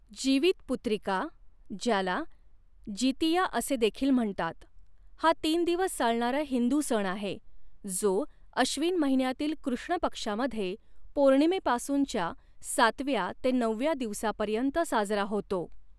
जीवितपुत्रिका, ज्याला जितिया असे देखील म्हणतात, हा तीन दिवस चालणारा हिंदू सण आहे, जो अश्विन महिन्यातील कृष्ण पक्षामध्ये पौर्णिमेपासूनच्या सातव्या ते नवव्या दिवसापर्यंत साजरा होतो.